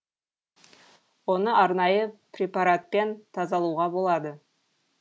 оны арнайы препаратпен тазалауға болады